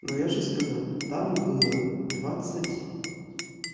ну я же сказал там было двадцать